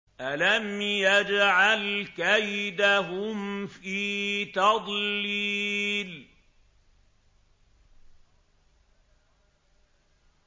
أَلَمْ يَجْعَلْ كَيْدَهُمْ فِي تَضْلِيلٍ